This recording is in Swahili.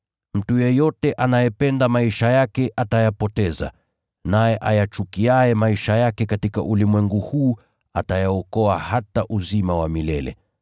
Mtu yeyote anayependa maisha yake atayapoteza, naye ayachukiaye maisha yake katika ulimwengu huu atayaokoa hata kwa uzima wa milele.